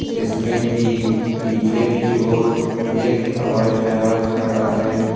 इसमें की पीछे की ओर एक हवाई जहाज खड़ा है।